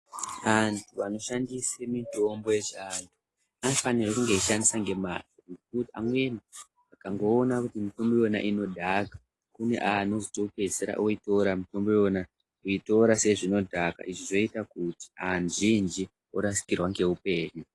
Antu anoshandise mitombo yechiantu anofanirwe kunge achishandisa ngemazvo. Ngekuti amweni akangoona kuti mitombo iyona inodhaka kune anozotopedzisira oitora mitombo iyona, kuitora sezvinodhaka izvi zvoita kuti azhinji orasikirwa ngeupenyu.